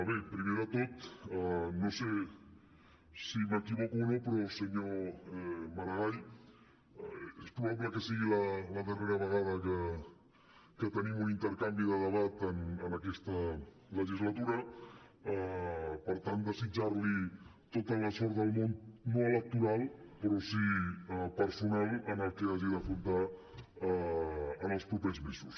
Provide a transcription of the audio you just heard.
bé primer de tot no sé si m’equivoco o no però senyor maragall és probable que sigui la darrera vegada que tenim un intercanvi de debat en aquesta legislatura per tant desitjar li tota la sort del món no electoral però sí personal en el que hagi d’afrontar en els propers mesos